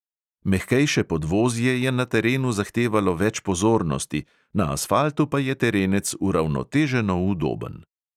Mehkejše podvozje je na terenu zahtevalo več pozornosti, na asfaltu pa je terenec uravnoteženo udoben.